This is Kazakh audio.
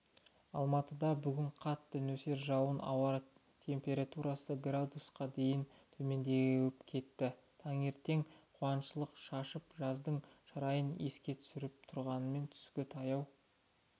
алматыда бүгін қатты нөсер жауып ауа температурасы градусқа дейін төмендеп кетті таңертең күншуақ шашып жаздың шырайын еске түсіріп тұрғанымен түске таяу